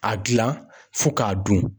A gilan fo k'a dun.